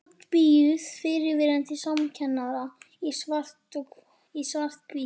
Útbíuð í fyrrverandi samkennara í svarthvítu.